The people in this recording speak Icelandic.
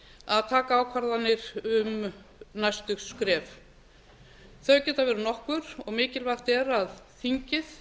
að taka ákvarðanir um næstu skref þau geta verið nokkur og mikilvægt er að þingið